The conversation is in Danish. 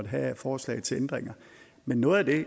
have af forslag til ændringer men noget af